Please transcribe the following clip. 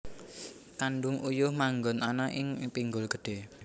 Kandhung uyuh manggon ana ing pinggul gedhe